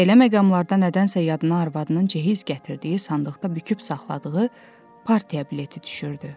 Belə məqamda nədənsə yadına arvadının cehiz gətirdiyi sandıqda büküb saxladığı partiya bileti düşürdü.